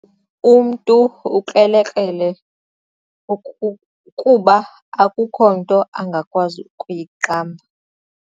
Umntu ukrelekrele kuba akukho nto angakwazi kuyiqamba.